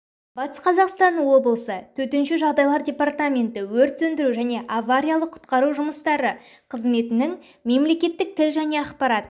батыс қазақстан облысы төтенше жағдайлар департаменті өр сөндіру және авариялық-құтқару жұмыстары қызметінің мемлекеттік тіл және ақпарат